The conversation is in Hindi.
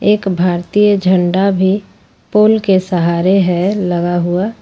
एक भारतीय झंडा भी पोल के सहारे है लगा हुआ।